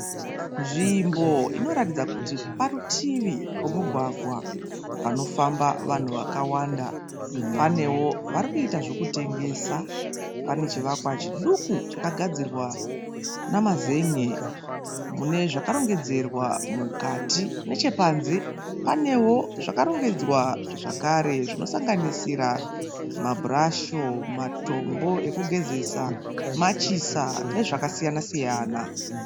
Nzvimbo inoratidza kuti parutivi pemugwagwa panofamba vanhu vakawanda, panevo vari kuiita zvekutengesa pane chivakwa chiduku chakagadzirwa nemazen'e mune zvakarongedzerwa mukati, nechepanze pane zvakarongedzerwa zvakare zvinosanganisira mabhurasho, matombo ekugezesa, machisa, nezvimwe zvakasiyana.